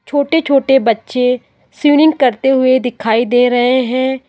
छोटे छोटे बच्चे स्विमिंग करते हुए दिखाई दे रहे है।